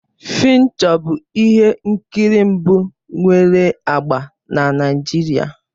"Fincho bụ ihe nkiri mbụ nwere agba na Naịjirịa.